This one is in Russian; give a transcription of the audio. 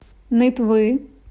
нытвы